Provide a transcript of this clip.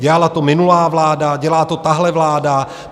Dělala to minulá vláda, dělá to tahle vláda.